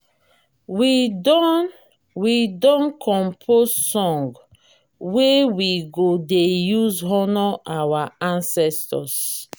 we don we don compose song wey we go dey use honour our ancestors.